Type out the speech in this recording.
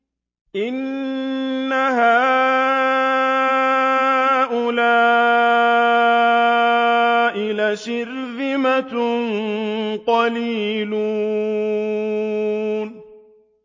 إِنَّ هَٰؤُلَاءِ لَشِرْذِمَةٌ قَلِيلُونَ